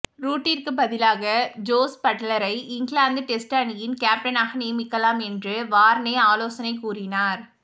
ரூட்டிற்கு பதிலாக ஜோஸ் பட்லரை England test அணியின் கேப்டனாக நியமிக்கலாம் என்று வார்னே ஆலோசனை கூறினார்